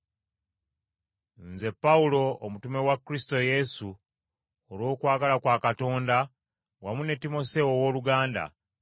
Nze Pawulo, omutume wa Kristo Yesu olw’okwagala kwa Katonda, wamu ne Timoseewo owooluganda,